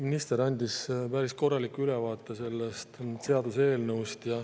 Minister andis päris korraliku ülevaate sellest seaduseelnõust.